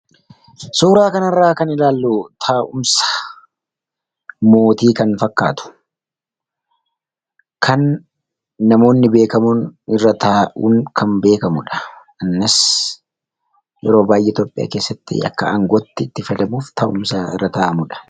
Suuraa kanarraa kan ilaallu taa'umsa mootii kan fakkaatu kan namoonni irra taa'uun kan beekamudha. Kanas yeroo baay'ee Itoophiyaa keessatti akka aangootti itti fayyadamuuf taa'umsa irra taa'amudha.